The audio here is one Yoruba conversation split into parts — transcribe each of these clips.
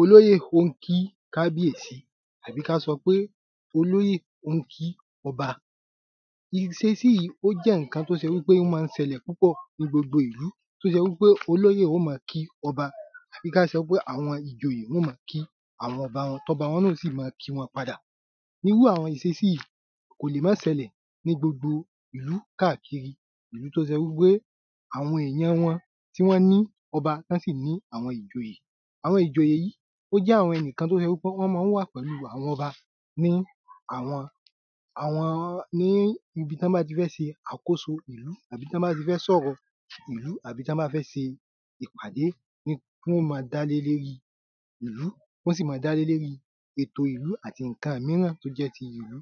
Olóyè ó ń kí kábíèsí àbí k’á sọ pé olóyè ó ń kí ọba Ìṣésí yí ó jẹ́ ǹkan t’ó se wí pé ó má ń ṣẹlẹ̀ ní gbogbo ìlú t’ó se wí pé olóyè ó ma kí ọba àbí k’á sọ pé àwọn ìjoyè wọ́n ó ma kí àwọn ọba wọn t’ọ́ba wọn náà ó sì ma kí wọn padà Irú àwọn ìsesí yi kò lè ma sẹlẹ̀ ní gbogbo ìlú káàkiri Ìlú t’ó se wí pé àwọn èyan wọn tí wọ́n ní ọba t’ọ́ sì ní àwọn ìjòyè. Àwọn ìjòyè yí ó jẹ́ àwọn ẹni kan t’ó se wí pé wọ́n má ń wà pẹ̀lú àwọn ọba. ní ibi t’ọ́ bá ti fẹ́ se àkóso ìlú àbí t'ọ́ bá fẹ́ s'ọ̀rọ̀ ìlú t'ọ́ bá fẹ́ se ìpàdé ní tí wọ́n ma dá lé l’érí ìlú tí wọ́n sì ma dá lé l’érí ètò ìlú àti ìnkan míràn t’ó jẹ́ ti ìlú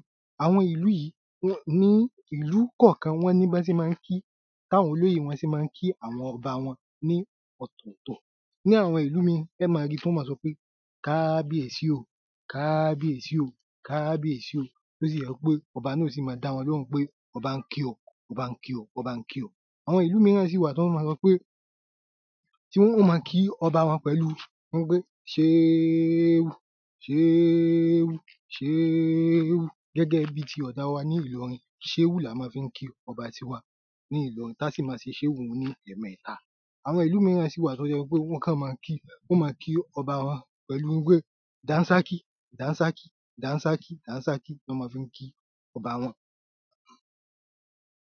Ìlú kọ̀kan wọ́n ní b’ọ́ sé má ń kí t'áwọn olóyè wọn sé má ń kí ní ọ̀tọ̀tọ̀. Ní àwọn ìlú míì ẹ́ ma rí t’ọ́ ma sọ pé Kábíèsí o Kábíèsí o Kábíèsí o t'ó sì yẹ́ wí pé ọba náà ó sì ma dá wọn l’óhùn pé ọbá ń kí ọ ọbá ń kí ọ ọbá ń kí ọ Àwọn ìlú míràn sì wà t’ọ́ ma sọ pé tí wọ́n ma kí ọba wọn pẹ̀lú ń pé ṣéẹ́ù ṣéẹ́ù ṣéẹ́ù gẹ́gẹ́ bí ti ọ̀ga wa ní Ìlorin. Ṣéẹ́ù là wa ma fí ń kí ọba ti wa ní Ìlorin l’á sì ma ṣe ṣéẹ́ù ní ẹ̀ẹmẹta Àwọn ìlú míràn sì wà t’ọ́ se wí pé wọ́n kọ̀ ma kí wọ́n ma kí ọba pẹ̀lú wí pé dànsákì dànsákì. Dànsákì dànsákì lo’ọ́ ma fí ń ki